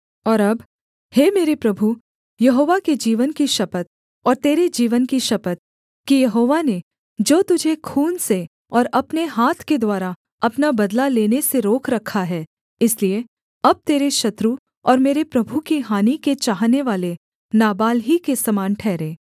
और अब हे मेरे प्रभु यहोवा के जीवन की शपथ और तेरे जीवन की शपथ कि यहोवा ने जो तुझे खून से और अपने हाथ के द्वारा अपना बदला लेने से रोक रखा है इसलिए अब तेरे शत्रु और मेरे प्रभु की हानि के चाहनेवाले नाबाल ही के समान ठहरें